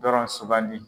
Dɔrɔn sugandi